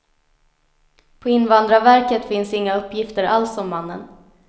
På invandrarverket finns inga uppgifter alls om mannen.